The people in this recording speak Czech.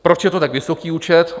Proč je to tak vysoký účet?